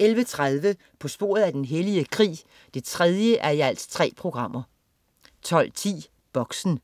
11.30 På sporet af den hellige krig 3:3* 12.10 Boxen